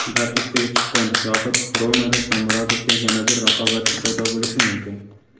"Dard ustiga chipqon" yoxud "Roma"da Shomurodovga yana bir raqobatchi paydo bo‘lishi mumkin.